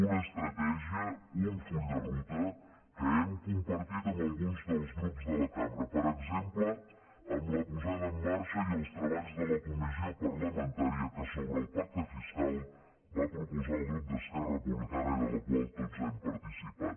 una estratègia un full de ruta que hem compartit amb alguns dels grups de la cambra per exemple amb la posada en marxa i els treballs de la comissió parlamentària que sobre el pacte fiscal va proposar el grup d’esquerra republicana i de la qual tots hem participat